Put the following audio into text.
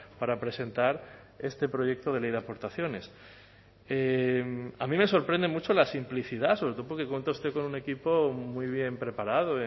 para presentar este proyecto de ley de aportaciones a mí me sorprende mucho la simplicidad sobre todo porque cuenta usted con un equipo muy bien preparado